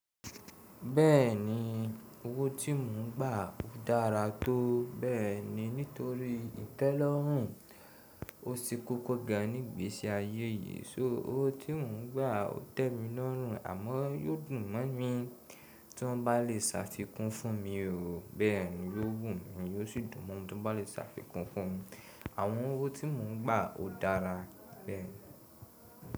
Bẹ́ẹ̀ni, owó tí mò ń gbà ò dára tó bẹ́ẹ̀ ni nítorí ìtẹ́lórùn. Ko sí kókó gan nígbeṣi ayé yìí. Só owó tí mò ń gbà ò tẹ́ mi lọ́rùn àmọ́ yóò dùn mọ́ mi tí wọ́n bá lè ṣàfikún fún mi òó, bẹ́ẹ̀ ni yóò wù mí yóò sì dùn mọ́ mi tí wọ́n bá lè ṣàfikún fún mi. Àwọn owó tí mò ń gbà ò dára bẹ́ẹ̀.